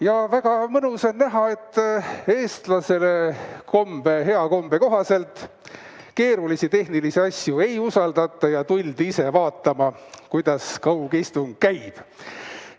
Ja väga mõnus on näha, et eestlaste hea kombe kohaselt keerulisi tehnilisi asju ei usaldata ja tuldi ise vaatama, kuidas kaugistung käib.